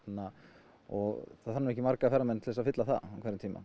og það þarf nú ekki marga ferðamenn til að fylla það á hverjum tíma